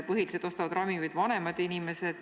Põhiliselt ostavad ravimeid ju vanemad inimesed.